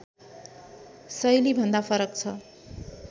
शैलीभन्दा फरक छ